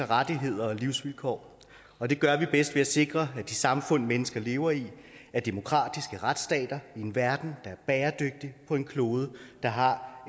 rettigheder og livsvilkår og det gør vi bedst ved at sikre at de samfund mennesker lever i er demokratiske retsstater i en verden der er bæredygtig og på en klode der har